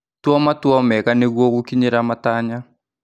Tua matua mega nĩguo gũkinyĩra matanya.